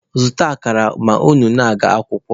Zụta akara ma unu na-aga akwụkwọ!